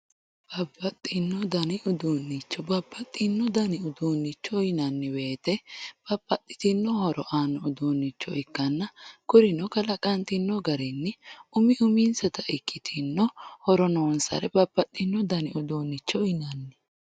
babbaxxino dani uduunnicho babbaxxino dani uduunnicho yinanni woyiite babbaxxitino horo aanno uduunnicho ikkanna kurino kalaqantinno garinni umi uminsata ikkitinno horo noonsare babbaxxino dani uduunnicho yinanni